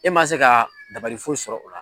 E man se ka dabali foyi sɔrɔ o la.